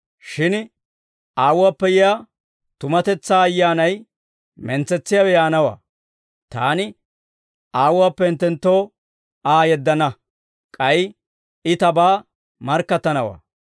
«Shin Aawuwaappe yiyaa tumatetsaa Ayyaanay mentsetsiyaawe yaanawaa. Taani Aawuwaappe hinttenttoo Aa yeddana; k'ay I Tabaa markkattanawaa.